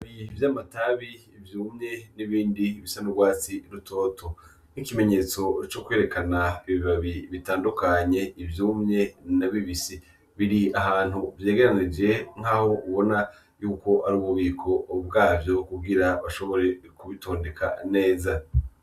Ibibabi vy’amatabi vyumye n’ibindi bisa n’urwatsi rutoto nk’ikimenyetso co kwerekana ibibabi bitandukanye ivyumye na bibisi , biri ahantu vyegeranirije nkaho ubona yuko ati ububiko bwavyo kugira bashobore kubitondeka neza.